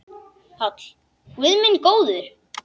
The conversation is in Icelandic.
PÁLL: Guð minn góður!